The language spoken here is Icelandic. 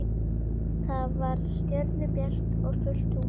Það var stjörnubjart og fullt tungl.